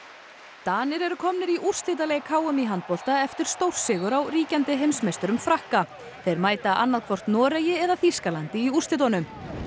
Danir eru komnir í úrslitaleik h m í handbolta eftir stórsigur á ríkjandi heimsmeisturum Frakka þeir mæta annað hvort Noregi eða Þýskalandi í úrslitunum